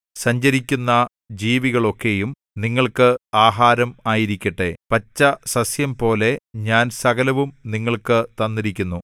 സഞ്ചരിക്കുന്ന ജീവികളൊക്കെയും നിങ്ങൾക്ക് ആഹാരം ആയിരിക്കട്ടെ പച്ചസസ്യംപോലെ ഞാൻ സകലവും നിങ്ങൾക്ക് തന്നിരിക്കുന്നു